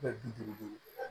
bi duuru duuru